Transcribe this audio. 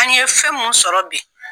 An ye fɛn mun sɔrɔ bi.